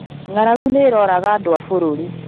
Ng'aragu nĩ ĩrooraga andũa bũrũri